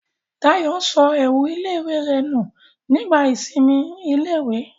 Dayọ̀ sọ ẹ̀wù ilé-ìwé rẹ̀ nù nígbà ìsinmi ilé-ìwé